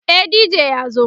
e DJ ya zo